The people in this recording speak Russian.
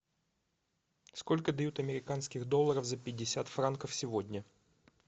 сколько дают американских долларов за пятьдесят франков сегодня